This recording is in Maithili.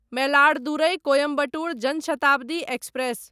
मैलाडदुरै कोयम्बटूर जन शताब्दी एक्सप्रेस